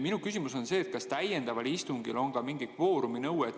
Minu küsimus on see: kas täiendaval istungil on ka mingi kvooruminõue?